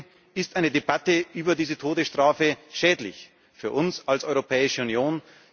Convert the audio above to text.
Deswegen ist eine Debatte über die Todesstrafe schädlich für uns als Europäische Union.